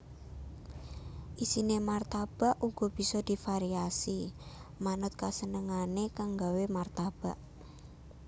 Isiné martabak uga bisa divariasi manut kasenengané kang nggawé martabak